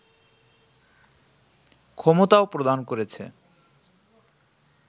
ক্ষমতাও প্রদান করেছে